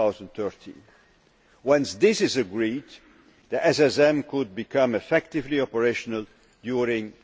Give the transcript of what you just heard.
2013. Once this is agreed, the SSM could become effectively operational during